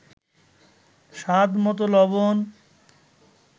স্বাদমতো লবণ